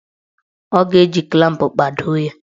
Ọ ga-eji klamp kpado ya.